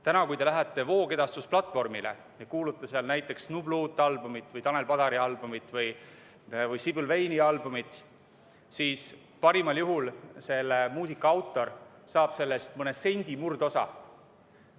Täna, kui te lähete voogedastusplatvormile, kuulate seal näiteks nublu uut albumit, Tanel Padari albumit või Sibyl Vane'i albumit, siis parimal juhul selle muusika autor saab sellest mõne sendi, murdosa.